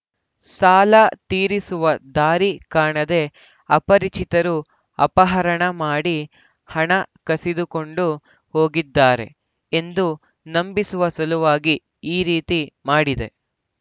ಸಾಲ ತೀರಿಸುವ ದಾರಿ ಕಾಣದೆ ಅಪರಿಚಿತರು ಅಪಹರಣ ಮಾಡಿ ಹಣ ಕಸಿದುಕೊಂಡು ಹೋಗಿದ್ದಾರೆ ಎಂದು ನಂಬಿಸುವ ಸಲುವಾಗಿ ಈ ರೀತಿ ಮಾಡಿದೆ